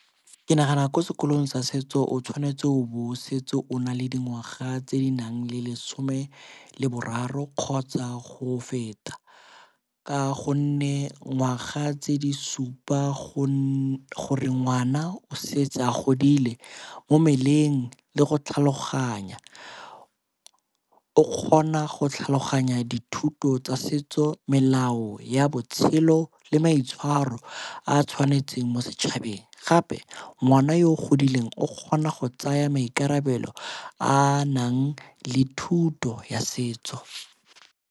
Ke nagana ko sekolong sa setso o tshwanetse o be o setse o na le dingwaga tse di nang le lesome leboraro kgotsa go feta ka gonne ngwaga tse di supa go gore ngwana o setse a godile mo mmeleng le go tlhaloganya. O kgona go tlhaloganya dithuto tsa setso, melao ya botshelo le maitshwaro a tshwanetseng mo setšhabeng gape ngwana yo o godileng o kgona go tsaya maikarabelo a nang le thuto ya setso.